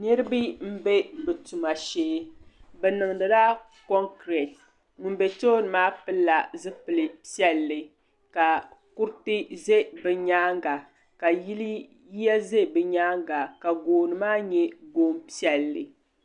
Niriba m be bɛ tuma shee bɛ niŋdila konkireti ŋun be tooni maa pilila zipil'piɛlli ka kuriti ʒɛ bɛ nyaanga la yiya ʒɛ bɛ nyaanga ka gooni maa nyɛ goon'piɛlli.